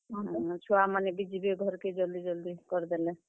ହଁ, ଛୁଆ ମାନେ ବି ଯିବେ ଘର୍ କେ ଜଲ୍ ଦି, ଜଲ୍ ଦି କରିଦେଲେ।